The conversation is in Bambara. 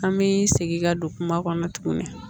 An bɛ segin ka don kuma kɔnɔ tuguni